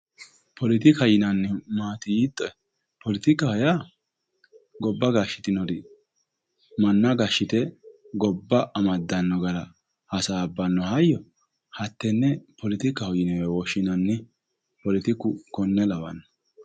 Poletikaho yinnannihu maati yiittoe, poletikkaho yaa gobba gashitinori manna amadde gobba amaddano gara hasaabbano hayyo hatene poletikkaho yinne woshshinanni, poletikku tene lawano.